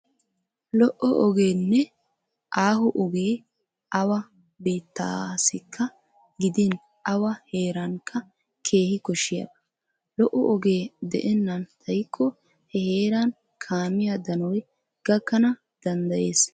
Lo"o ogeenne aaho ogee awa biittaassikka gidin awa heerankka keehi koshshiyaba. Lo"o ogee de'ennan xaykko he heeran kaamiya danoy gakkana danddayees.